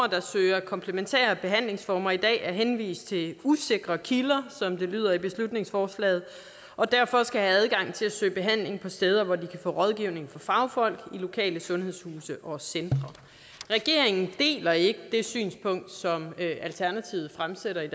der søger komplementære behandlingsformer i dag er henvist til usikre kilder som det lyder i beslutningsforslaget og derfor skal have adgang til at søge behandling på steder hvor de kan få rådgivning af fagfolk i lokale sundhedshuse og centre regeringen deler ikke det synspunkt som alternativet fremsætter i